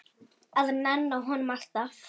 Að nenna honum, alltaf.